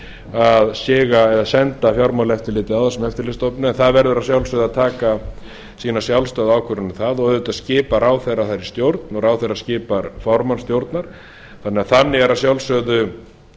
að siga eða senda fjármálaeftirlitið á þessa eftirlitsstofnun en það verður að sjálfsögðu að taka sína sjálfstæð ákvörðun um það og auðvitað skipar ráðherra þar í stjórn og ráðherra skipar formann stjórnar þannig að þar eru að sjálfsögðu